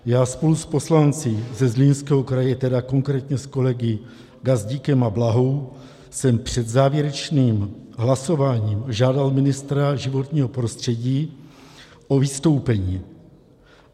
Já spolu s poslanci ze Zlínského kraje, tedy konkrétně s kolegy Gazdíkem a Blahou, jsem před závěrečným hlasováním žádal ministra životního prostředí o vystoupení.